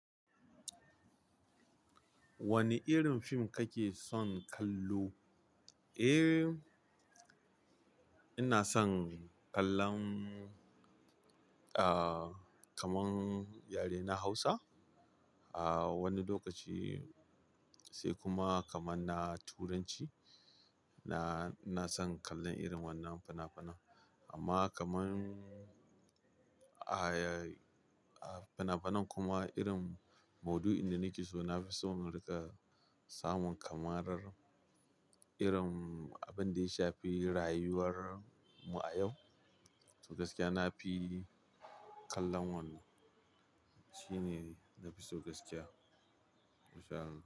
Wane irin film kake son kallo? Eh, ina son kallon, ah, kaman yare na Hausa. Ah, wani lokaci sai kuma kaman na Turanci. Na, na son kallon irin wannan fina-finan. Amma kaman ayay-- ah, fina-finan kuma irin mudu'in da nake so na fi son mu riƙa samun kamarar irin abin da ya shafi rayuwar mu a yau. Tau gaskiya na fi kallon wannan. Shi ne na fi so gaskiya. In sha Allah.